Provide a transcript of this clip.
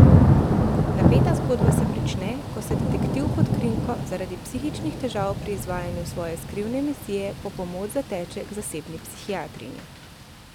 Napeta zgodba se prične, ko se detektiv pod krinko zaradi psihičnih težav pri izvajanju svoje skrivne misije po pomoč zateče k zasebni psihiatrinji.